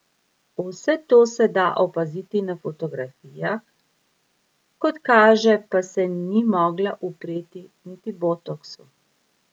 Vse to se da opaziti na fotografijah, kot kaže pa se ni mogla upreti niti botoksu.